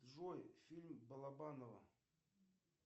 джой фильм балабанова